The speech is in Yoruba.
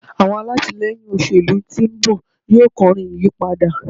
àwọn alatilẹyin òṣèlú tí nbọ yíò kọrin ìyípadà